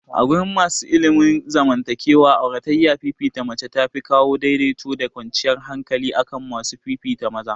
Agurin masana ilimin zaman takewa, auratayyar fifita mace tafi kawo daidaito da kwanciyar hankali akan masu fifita maza.